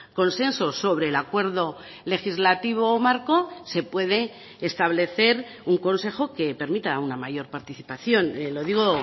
consenso sobre el acuerdo legislativo marco se puede establecer un consejo que permita una mayor participación lo digo